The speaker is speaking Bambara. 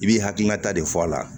I b'i hakilinata de fɔ a la